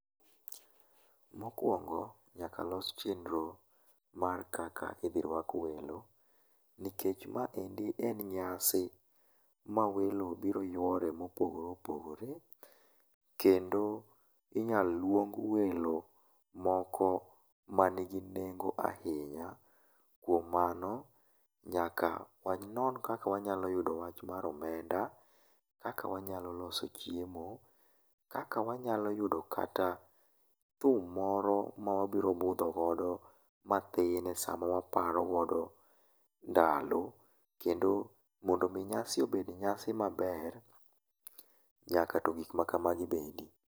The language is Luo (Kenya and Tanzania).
Mokuongo, nyaka los chenro mar kaka idhi rwak welo, nikech maendi en nyasi ma welo biro yuore mopogore opogore, kendo inyalo luong welo moko man gi nengo ahinya. Kuom mano, nyaka wanon kaka wanyalo yudo wach mar omenda, kaka wanyalo loso chiemo, kaka wanyalo yudo kata thum moro ma wabiro budho godo mathin esaa mawaparo godo ndalo kendo mondo mi nyasi obed nyasi maber, nyaka to gik ma kamagi bede.